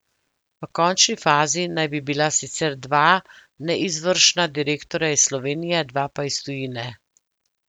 V končni fazi naj bi bila sicer dva neizvršna direktorja iz Slovenije, dva pa iz tujine.